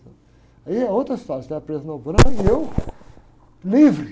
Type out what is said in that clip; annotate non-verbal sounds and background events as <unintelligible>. Aí é outra história, <unintelligible> presa na <unintelligible> e eu, livre.